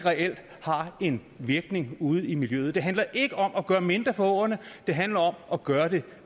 har en virkning ude i miljøet det handler ikke om at gøre mindre for åerne det handler om at gøre det